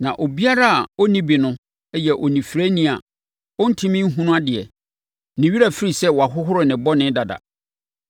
Na obiara a ɔnni bi no yɛ onifirani a ɔntumi nhunu adeɛ. Ne werɛ afiri sɛ wɔahohoro ne bɔne dada.